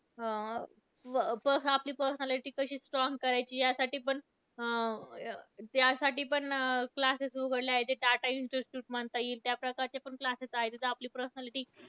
प आपली personality कशी strong करायची यासाठी पण, अं त्यासाठी पण classes उघडले आहेत. ते टाटा इन्स्टिट्यूट म्हणता येईल, त्याप्रकारचे पण classes आहेत. तिथे आपली प्रस्नालीटी